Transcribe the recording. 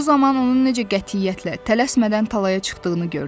Bu zaman onun necə qətiyyətlə, tələsmədən talaya çıxdığını gördülər.